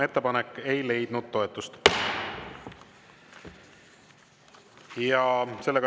Ettepanek ei leidnud toetust.